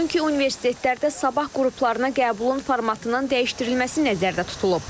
Çünki universitetlərdə sabah qruplarına qəbulun formatının dəyişdirilməsi nəzərdə tutulub.